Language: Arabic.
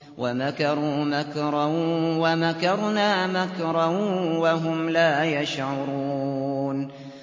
وَمَكَرُوا مَكْرًا وَمَكَرْنَا مَكْرًا وَهُمْ لَا يَشْعُرُونَ